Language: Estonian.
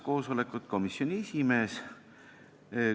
Koosolekut juhatas komisjoni esimees.